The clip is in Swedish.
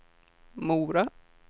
Mora